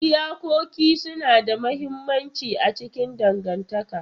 Iyakoki suna da mahimmanci a cikin dangantaka.